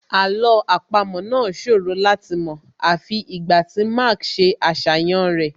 Àlọ́ àpamọ́ náà ṣòro láti mọ̀ àfi ìgbà tí Mark ṣe àṣàyàn rẹ̀